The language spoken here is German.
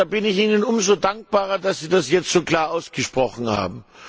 Deshalb bin ich Ihnen umso dankbarer, dass Sie das jetzt so klar ausgesprochen haben.